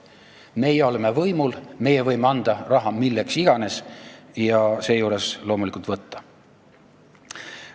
Meie oleme võimul, meie võime raha anda milleks iganes ja loomulikult seda ka võtta.